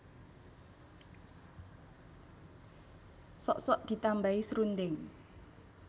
Sok sok ditambahi srundeng